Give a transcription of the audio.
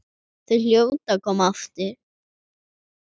Þau hljóta að koma aftur.